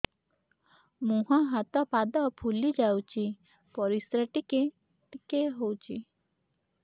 ମୁହଁ ହାତ ପାଦ ଫୁଲି ଯାଉଛି ପରିସ୍ରା ଟିକେ ଟିକେ ହଉଛି